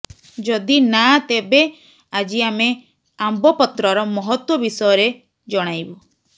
ଯଦି ନାଁ ତେବେ ଆଜି ଆମେ ଆମ୍ବ ପତ୍ରର ମହତ୍ତ୍ୱ ବିଷୟରେ ଜଣାଇବୁ